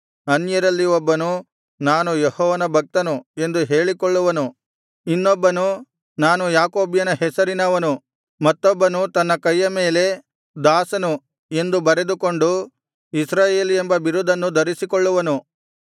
ಅನ್ಯಜನರಲ್ಲಿ ಒಬ್ಬನು ನಾನು ಯೆಹೋವನ ಭಕ್ತನು ಎಂದು ಹೇಳಿಕೊಳ್ಳುವನು ಇನ್ನೊಬ್ಬನು ನಾನು ಯಾಕೋಬ್ಯನ ಹೆಸರಿನವನು ಮತ್ತೊಬ್ಬನು ತನ್ನ ಕೈಯ ಮೇಲೆ ದಾಸನು ಎಂದು ಬರೆದುಕೊಂಡು ಇಸ್ರಾಯೇಲ್ ಎಂಬ ಬಿರುದನ್ನು ಧರಿಸಿಕೊಳ್ಳುವನು